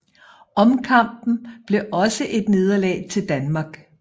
Omkampen blev også et nederlag til Danmark